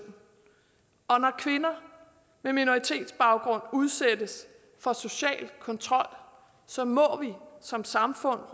og når kvinder med minoritetsbaggrund udsættes for social kontrol så må vi som samfund